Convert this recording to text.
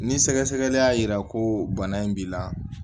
Ni sɛgɛsɛgɛli y'a yira ko bana in b'i la